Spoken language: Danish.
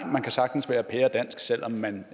man kan sagtens være pæredansk selv om man